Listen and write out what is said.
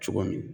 Cogo min